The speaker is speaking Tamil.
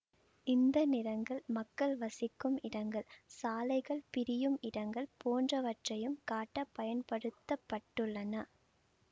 இந்த நிறங்கள் மக்கள் வசிக்கும் இடங்கள் சாலைகள் பிரியும் இடங்கள் போன்றவற்றையும் காட்ட பயன்படுத்தப்பட்டுள்ளன